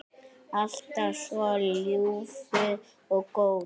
Alltaf svo ljúfur og góður.